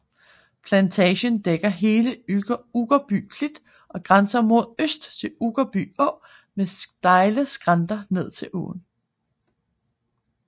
Plantagen dækker hele Uggerby Klit og grænser mod øst til Uggerby Å med stejle skrænter ned til åen